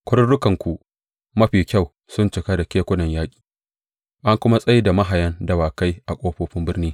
Kwarurukanku mafi kyau sun cika da kekunan yaƙi, an kuma tsai da mahayan dawakai a ƙofofin birni.